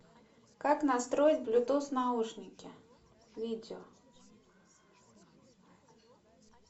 как настроить блютус наушники видео